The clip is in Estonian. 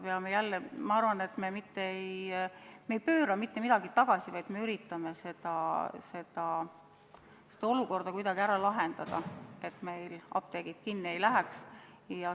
Ma arvan, et me mitte ei pööra midagi tagasi, vaid üritame selle olukorra kuidagi lahendada nii, et meil apteegid kinni ei läheks.